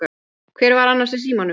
Hver var annars í símanum?